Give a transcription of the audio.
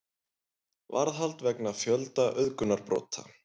Varðhald vegna fjölda auðgunarbrota